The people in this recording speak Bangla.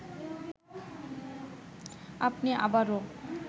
আপনি আবারও